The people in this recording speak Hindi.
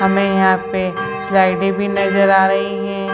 हमें यहां पे स्लाइडें भी नजर आ रही हैं।